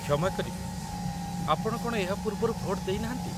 କ୍ଷମା କରିବେ, ଆପଣ କ'ଣ ଏହା ପୂର୍ବରୁ ଭୋଟ ଦେଇନାହାନ୍ତି?